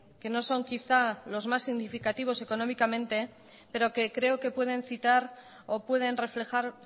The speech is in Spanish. que no son quizá los más significativos económicamente pero que creo que pueden citar o pueden reflejar